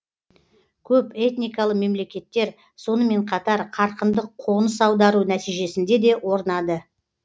көпэтникалы мемлекеттер сонымен қатар қарқынды қоңыс аудару нәтижесінде де орнады